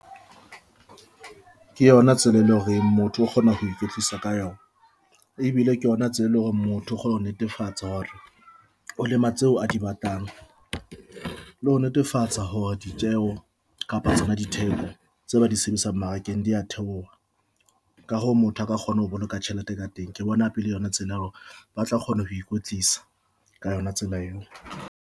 Ke yona tsela e leng hore motho o kgona ho ikwetlisa ka yona ebile ke yona tsela, e leng hore motho o kgona ho netefatsa hore o lema tseo a di batlang. Ho netefatsa hore hore ditjeho kapa tsona ditheko tse ba di sebedisang mmarakeng dia theoha ka hoo, motho aka kgona ho boloka tjhelete ka teng. Ke bona pele yona tsela eo ba tla kgona ho ikwetlisa ka yona tsela eo.